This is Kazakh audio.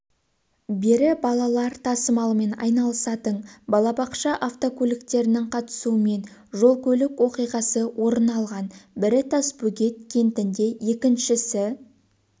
бері балалар тасымалымен айналысатын балабақша автокөліктерінің қатысуымен жол-көлік оқиғасы орын алған бірі тасбөгет кентінде екіншісі